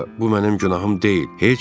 Sonra da bu mənim günahım deyil.